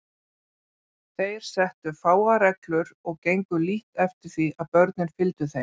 Þeir settu fáar reglur og gengu lítt eftir því að börnin fylgdu þeim.